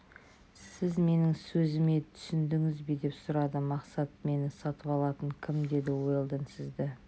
сіз менің сөзіме түсіндіңіз бе деп сұрады мақсат мені сатып алатын кім деді уэлдон сізді